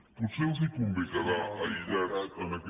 potser els convé quedar aïllats en aquest